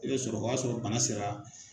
I bɛ sɔrɔ o y'a sɔrɔ bana sera